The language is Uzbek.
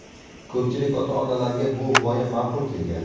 Ko‘pchilik ota-onalarga bu g‘oya ma’qul kelgan.